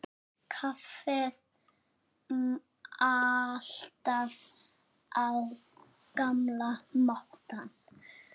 Kaffið alltaf á gamla mátann.